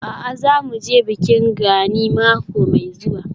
A'a, za mu je bikin Gani mako mai zuwa.